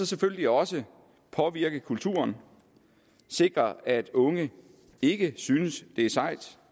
selvfølgelig også påvirke kulturen sikre at unge ikke synes det er sejt